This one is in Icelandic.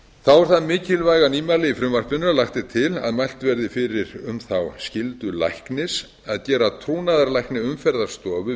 þá er það mikilvæga nýmæli í frumvarpinu að lagt er til að mælt verði fyrir um þá skyldu læknis að gera trúnaðarlækni umferðarstofu